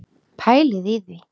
Pælið í því!